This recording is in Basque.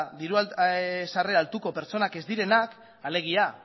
diru sarrera altuko pertsonak ez direnak alegia